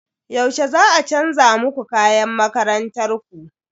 Yaushe za a chanza muku kayan makarantar ku?